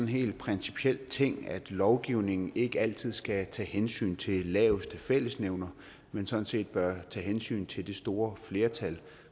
helt principiel ting at lovgivning ikke altid skal tage hensyn til laveste fællesnævner men sådan set bør tage hensyn til det store flertal